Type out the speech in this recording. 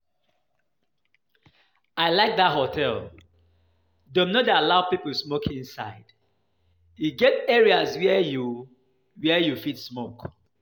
I like dat hotel, dem no dey allow people smoke inside. E get areas where you where you fit smoke